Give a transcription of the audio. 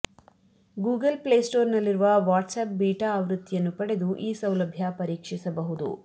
Google Play Store ನಲ್ಲಿರುವ WhatsApp beta ಆವೃತ್ತಿ ಯನ್ನು ಪಡೆದು ಈ ಸೌಲಭ್ಯ ಪರೀಕ್ಷಿಸಬಹುದು